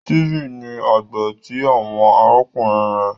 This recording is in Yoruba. Steven ní àgbà ti àwọn arákùnrin rẹ